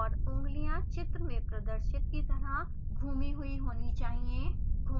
उँगलियाँ चित्र में प्रदर्शित की तरह घूमी हुई होनी चाहिए